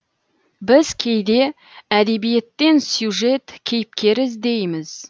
біз кейде әдебиеттен сюжет кейіпкер іздейміз